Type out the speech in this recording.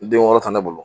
Den wɔɔrɔ ta ne bolo